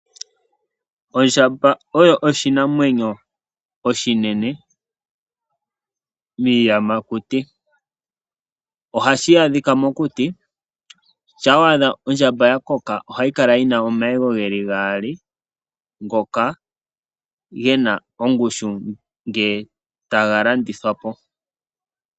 Ondjamba oyo oshinamwenyo oshinene mokati kiiyamakuti. Ohayi adhika mokuti, na ngele owa adha ya koka ohayi kala yi na omayego gaali ngono ge na ongushu ngele taga landithwa po.